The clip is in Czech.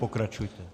Pokračujte.